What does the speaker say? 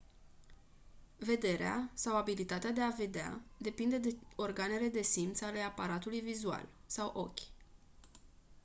vederea sau abilitatea de a vedea depinde de organele de simț ale aparatului vizual sau ochi